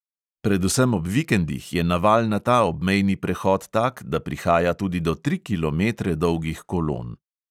Predvsem ob vikendih je naval na ta obmejni prehod tak, da prihaja tudi do tri kilometre dolgih kolon.